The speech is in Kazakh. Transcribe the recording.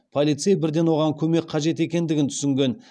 полицей бірден оған көмек қажет екендігін түсінген